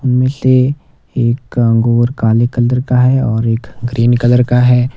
उनमें से एक अंगूर काले कलर का है और एक ग्रीन कलर का है।